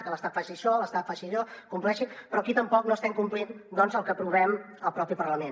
que l’estat faci això que l’estat faci allò compleixi però aquí tampoc no estem complint el que aprovem al propi parlament